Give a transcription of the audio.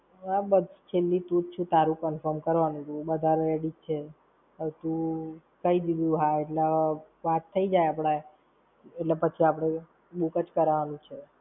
હવે બસ છેલ્લી તું જ છે તારું confirm કરવાનું તું, બધા ready જ છે. હવે તું, કઈ દીધું હા એટલે હવે વાત થઇ જાય આપણે, એટલે પછી આપણે book જ કરવાનું છે.